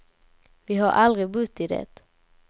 Vi har aldrig bott i det.